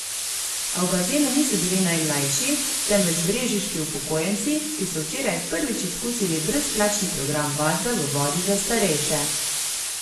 A v bazenu niso bili najmlajši, temveč brežiški upokojenci, ki so včeraj prvič izkusili brezplačni program vadbe v vodi za starejše.